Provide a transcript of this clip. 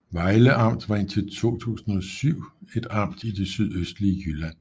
Vejle Amt var indtil 2007 et amt i det sydøstlige Jylland